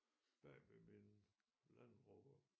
Bagved min landrover